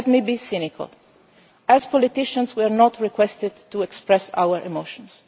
part. Let me be cynical as politicians we are not asked to express our emotions